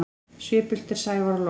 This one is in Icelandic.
Svipult er sævar logn.